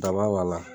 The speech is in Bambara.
Daba b'a la